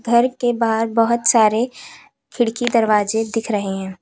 घर के बाहर बहोत सारे खिड़की दरवाजे दिख रहे हैं।